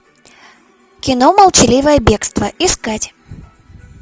кино молчаливое бегство искать